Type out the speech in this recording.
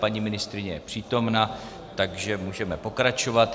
Paní ministryně je přítomna, takže můžeme pokračovat.